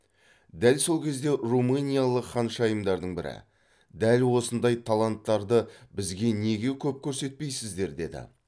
дәл сол кезде румыниялық ханшайымдардың бірі дәл осындай таланттарды бізге неге көп көрсетпейсіздер деді